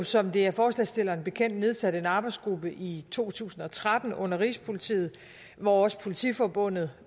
som det er forslagsstillerne bekendt nedsat en arbejdsgruppe i to tusind og tretten under rigspolitiet hvor også politiforbundet